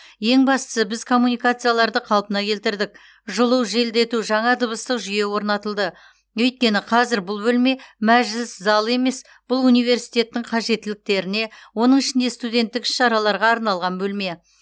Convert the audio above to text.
ең бастысы біз коммуникацияларды қалпына келтірдік жылу желдету жаңа дыбыстық жүйе орнатылды өйткені қазір бұл бөлме мәжіліс залы емес бұл университеттің қажеттіліктеріне оның ішінде студенттік іс шараларға арналған бөлме